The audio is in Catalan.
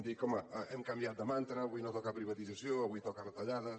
dir que home hem canviat de mantra avui no toca privatització avui toca retallades